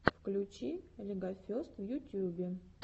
включи легофест в ютьюбе